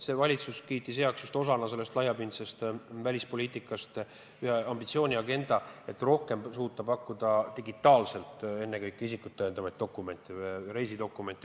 See valitsus kiitis just osana laiapindsest välispoliitikast heaks ühe ambitsiooni agenda, et rohkem suuta pakkuda digitaalselt ennekõike isikut tõendavaid dokumente, reisidokumente.